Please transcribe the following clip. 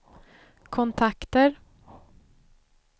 kontakter